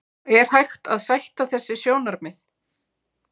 Er hægt að sætta þessi sjónarmið?